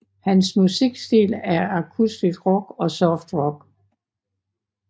Hans musikstil er akustisk rock og soft rock